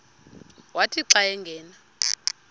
wathi xa angena